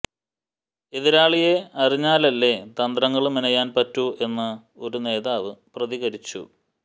എതിരാളിയെ അറിഞ്ഞാലല്ലേ തന്ത്രങ്ങള് മെനയാന് പറ്റൂ എന്ന് ഒരു നേതാവ് പ്രതികരിച്ചു